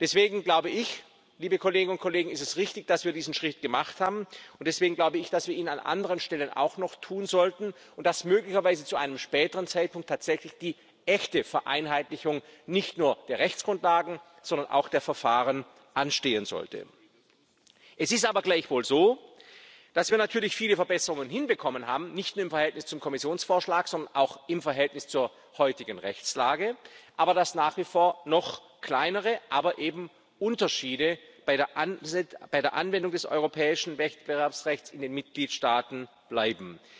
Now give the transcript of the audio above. kann. Deswegen ist es richtig, dass wir diesen Schritt gemacht haben, und deswegen glaube ich, dass wir ihn an anderen Stellen auch noch tun sollten und dass möglicherweise zu einem späteren Zeitpunkt tatsächlich die echte Vereinheitlichung nicht nur der Rechtsgrundlagen, sondern auch der Verfahren anstehen sollte. Es ist aber gleichwohl so, dass wir natürlich viele Verbesserungen hinbekommen haben, nicht nur im Verhältnis zum Kommissionsvorschlag, sondern auch im Verhältnis zur heutigen Rechtslage, aber nach wie vor noch wenn auch kleinere Unterschiede bei der Anwendung des europäischen Wettbewerbsrechts in den Mitgliedstaaten bleiben.